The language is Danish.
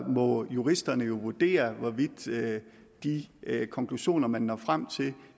må juristerne jo vurdere hvorvidt de konklusioner man når frem til